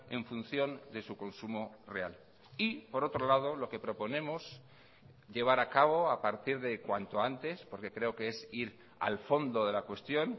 en función de su consumo real y por otro lado lo que proponemos llevar a cabo a partir de cuanto antes porque creo que es ir al fondo de la cuestión